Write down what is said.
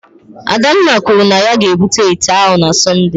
Adanna kwuru na ya ga-ebute ite ahụ na Sọnde